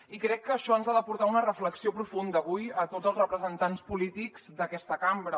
i crec que això ens ha de portar a una reflexió profunda avui a tots els representants polítics d’aquesta cambra